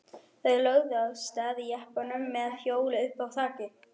Þeir lögðu af stað í jeppanum með hjólið uppá þaki.